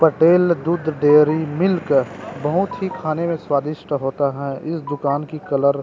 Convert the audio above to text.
पटेल दुध dairy milk बहुत ही खाने में स्वादिष्ट होता है इस दुकान की कलर --